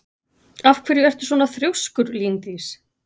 Af hverju ertu svona þrjóskur, Líndís?